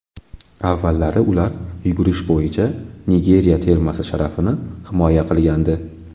Avvallari ular yugurish bo‘yicha Nigeriya termasi sharafini himoya qilgandi.